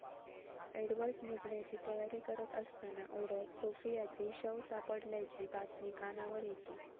Edward निघण्याची तयारी करत असताना ओढ्यात सोफियाचे शव सापडल्याची बातमी कानावर येते.